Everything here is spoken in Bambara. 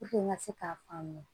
n ka se k'a faamuya